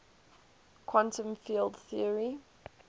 quantum field theory